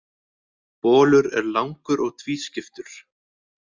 Bolur er langur og tvískiptur.